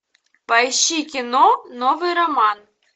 поищи кино новый роман